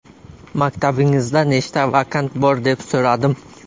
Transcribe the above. Maktabingizda nechta vakant bor deb so‘radim.